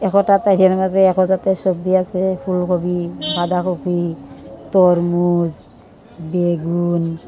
এতটা মাঝে দেখা যাচ্ছে সবজি আছে ফুলকপি বাঁধাকপি তরমুজ বেগুন।